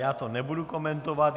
Já to nebudu komentovat.